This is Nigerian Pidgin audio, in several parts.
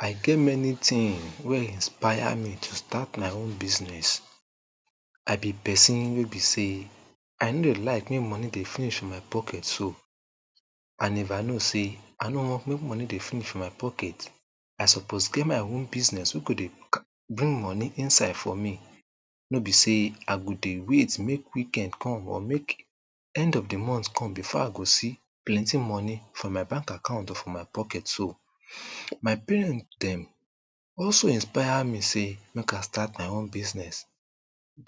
I get many tin wey inspire me to start my own business. I be pesin wey be sey, i no de like make moni dey finish for my pocket so, and if I know sey I no want make moni dey finish for my pocket, i suppose get my own business wey go dey bring moni inside for me. No be sey I go dey wait make weekend come, make end of de month come before I go see plenty money for my bank account or for my pocket so. My parent dem, also inspire me sey make I start my own business.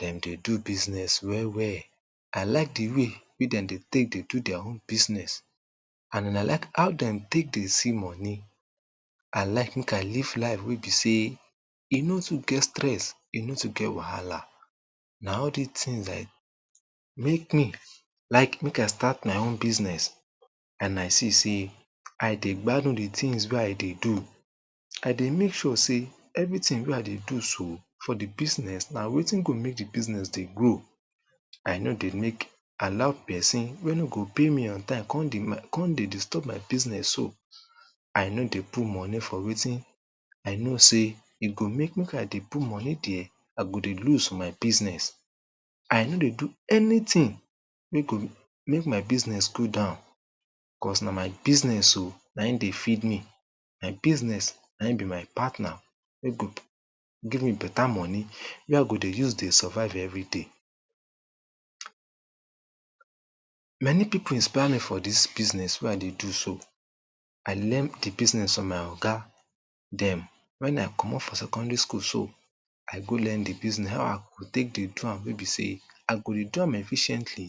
Den dey do business well well. I like de way wey den dey take dey do dia own business and I like how den take dey see moni. I like make I live life wey be sey e no too get stress, e no too get wahala, na all dis tin eh make me like make I start my own business and I see sey I dey gbadu de tins wey I dey do. I dey make sure sey, everytin wey I dey do so for de business na wetin go make de business dey grow. I no dey make, allow pesin wey no go pay me on time kon dey make, kon dey disturb my business so.. I no dey put moni for wetin I no sey, e go make make I dey put moni der, I go dey loose for my business. I no dey do anytin, wey go make my business go down, cos na my business so, na e dey feed me. My business, na e be my partner, wey go give me beta moni wey I go dey use dey survive everyday. Many pipo inspire me for dis business wey I dey do so. I learn tip business from my oga dem when i comot from secondary school so. I go learn de business how I go take dey do am wey be sey I go dey do am efficiently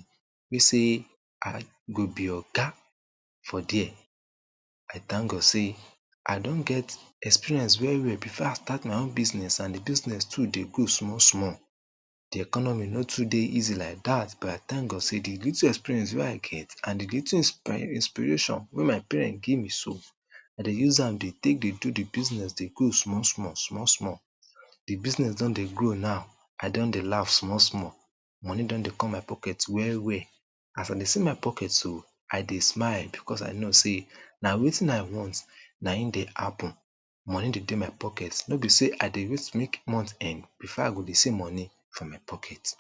wey be sey I go be oga for der. I thank God sey I don get experience very well before I start my own business and de business too dey go small small. De economy no too dey easy like dat but I thank God sey de little experience wey I get and de little inspiring inspiration wey my parents give me so I dey use am dey take dey do de business dey go small, small, small, small. De business don dey grow now, I don dey laugh small, small. Moni don dey come my pocket well, well! As I dey see my pocket so, I dey smile becos I know sey na wetin I want na e dey happen. Moni dey dey my pocket. No be sey I dey wait make month end before I go see moni for my pocket